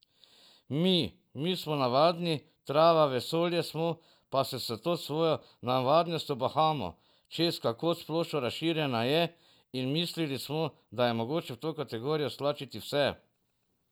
Mi, mi smo navadni, trava vesolja smo, pa se s to svojo navadnostjo bahamo, češ kako splošno razširjena je, in mislili smo, da je mogoče v to kategorijo stlačiti vse.